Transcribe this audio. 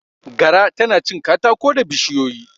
Gara tana cin katako da bishiyoyi.